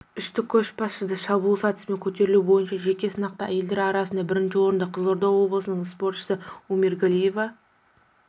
үштік көшбасшыда шабуыл сатысымен көтерілу бойынша жеке сынақта әйелдер арасында бірінші орынды қызылорда облысының спортшысы омиргалиева